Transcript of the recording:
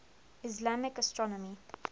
islamic astronomy